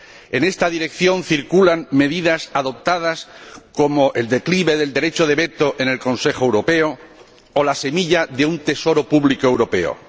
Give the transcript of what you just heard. En esta dirección van algunas medidas adoptadas, como el declive del derecho de veto en el Consejo Europeo o la semilla de un Tesoro público europeo.